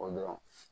O dɔrɔn